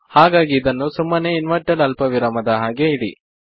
ಹಾಗಾಗಿ ಅದನ್ನು ಸುಮ್ಮನೆ ಇನ್ವೆರ್ಟೆಡ್ ಅಲ್ಪವಿರಾಮ ದ ಹಾಗೆ ಇಡಿ